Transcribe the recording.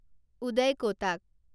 উদয় ক’টাক